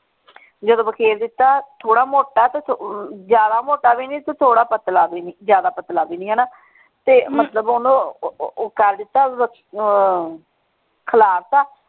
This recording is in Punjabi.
ਜਦੋ ਵਖੇਰ ਦਿੱਤਾ ਥੋੜਾ ਮੋਟਾ ਤੇ ਜ਼ਿਆਦਾ ਮੋਟਾ ਭੀ ਨਹੀਂ ਤੇ ਥੋੜਾ ਪਤਲਾ ਭੀ ਨਹੀਂ ਜ਼ਿਆਦਾ ਪਤਲਾ ਭੀ ਨਹੀਂ ਹਣਾ ਤੇ ਮਤਲਬ ਓਹਨੂੰ ਉਹ ਕਰ ਦਿਤਾ ਅਹ ਖਲਾਰਤਾ।